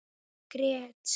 Ég grét.